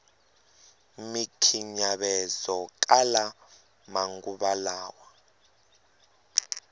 mikhinyavezowa kala manguva lawa